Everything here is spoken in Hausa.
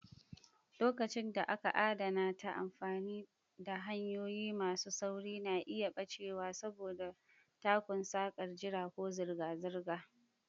Lokacin da aka adana ta amfani da hanyoyi masu sauri na iya ɓacewa saboda takun sakar jira ko zirga-zirga.